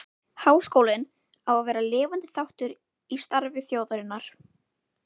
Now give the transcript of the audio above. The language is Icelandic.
Háskólinn á að vera lifandi þáttur í starfi þjóðarinnar.